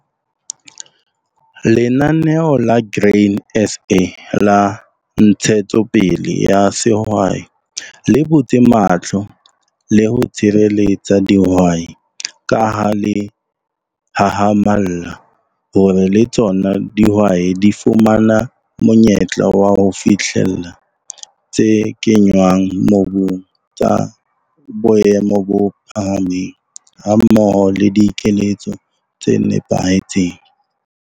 Lenaneo la Grain SA la Ntshetsopele ya Sehwai le butse mahlo le ho tshireletsa dihwai ka ha le hahamalla hore le tsona dihwai di fumana monyetla wa ho fihlella tse kenngwang mobung tsa boemo bo phahameng hammoho le dikeletso tse nepahetseng.